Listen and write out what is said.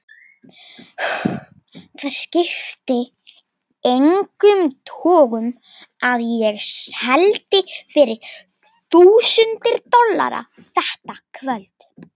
Það skipti engum togum að ég seldi fyrir þúsundir dollara þetta kvöld.